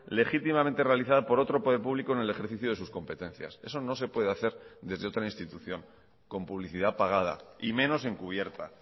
legítimamente realizada por otro poder público en el ejercicio de sus competencias eso no se puede hacer desde otra institución con publicidad pagada y menos encubierta